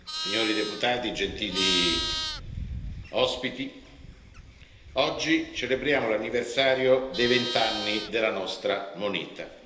Signori deputati, gentili ospiti, oggi celebriamo l'anniversario dei vent'anni della nostra moneta.